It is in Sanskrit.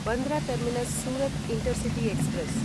Bandra terminus Surat intercity express